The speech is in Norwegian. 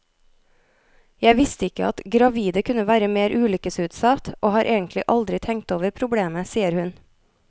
Jeg visste ikke at gravide kunne være mer ulykkesutsatt, og har egentlig aldri tenkt over problemet, sier hun.